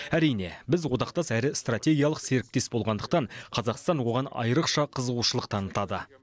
әрине біз одақтас әрі стратегиялық серіктес болғандықтан қазақстан оған айрықша қызығушылық танытады